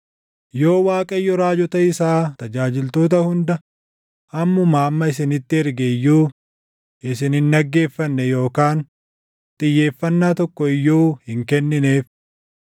Yoo Waaqayyo raajota isaa tajaajiltoota hunda ammumaa amma isinitti erge iyyuu, isin hin dhaggeeffanne yookaan xiyyeeffannaa tokko iyyuu hin kennineef.